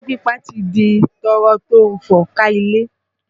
Irọ́ pípa ti di tọ́rọ́ tó ń fọ́n ká ilé